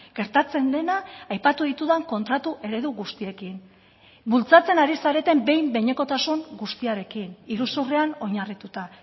gertatzen dena aipatu ditudan kontratu eredu guztiekin bultzatzen ari zareten behin behinekotasun guztiarekin iruzurrean oinarrituta